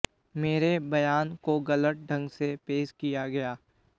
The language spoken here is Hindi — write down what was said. मेरे बयान को गलत ढंग से पेश किया गया